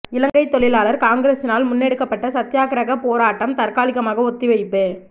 இலங்கை தொழிலாளர் காங்கிரஸினால் முன்னெடுக்கப்பட்ட சத்தியாகிரக போராட்டம் தற்காலிகமாக ஒத்தி வைப்பு